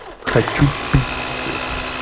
хочу пиццы